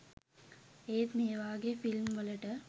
ඒත් මේ වාගෙ ෆිල්ම් වලට